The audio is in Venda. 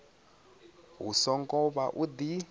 hu songo vha u di